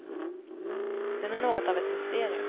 Den är något av ett mysterium.